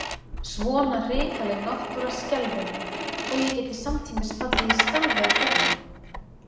Svona hrikaleg náttúra skelfir mig, þó ég geti samtímis fallið í stafi af hrifningu.